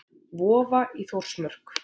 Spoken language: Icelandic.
Vofa í Þórsmörk.